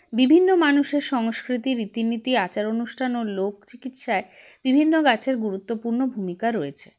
বিভিন্ন মানুষের সংস্কৃতি রীতিনীতি আচার অনুষ্ঠান ও লোকচিকিৎসায় বিভিন্ন গাছের গুরুত্বপূর্ণ ভূমিকা রয়েছে